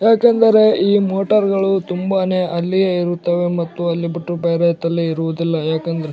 ಯಾಕೆಂದರೆ ಈ ಮೋಟಾರ್ಗಳು ತುಂಬಾನೇ ಅಲ್ಲಿಯೇ ಇರುತ್ತವೆ ಮತ್ತು ಅಲ್ಲಿ ಬಿಟ್ಟು ಬೇರೆ ತಲ್ಲಿ ಇರುವುದಿಲ್ಲ ಯಾಕೆಂದರೆ --